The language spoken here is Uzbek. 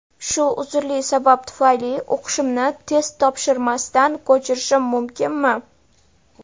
Shu uzrli sabab tufayli o‘qishimni test topshirmasdan ko‘chirishim mumkinmi?.